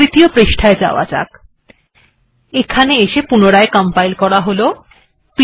এবার তৃতীয় পৃষ্ঠাতে যাওয়া যাক এবার আরেকবার কম্পাইল করা যাক